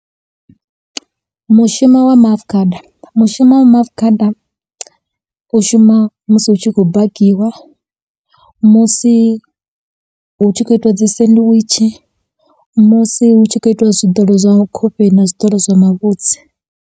Mushumo wa maafukhada, mushumo wa maafukhada u shuma musi hu tshi khou bakiwa, musi hu tshi khou itiwa dzi sendiwitshi, musi hu tshi khou itiwa zwiḓolo zwa khofheni na zwiḓolo zwa mavhudzi.